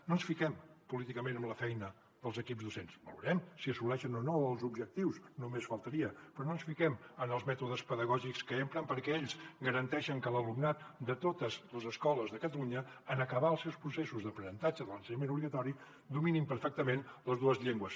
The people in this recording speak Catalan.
no ens fiquem políticament amb la feina dels equips docents valorem si assoleixen o no els objectius només faltaria però no ens fiquem en els mètodes pedagògics que empren perquè ells garanteixen que l’alumnat de totes les escoles de catalunya en acabar els seus processos d’aprenentatge de l’ensenyament obligatori dominin perfectament les dues llengües